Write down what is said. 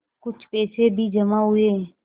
कुछ पैसे भी जमा हुए